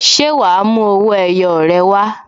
Ṣé wa mú owó ẹyọ rẹ wá?